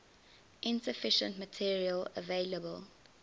insufficient material available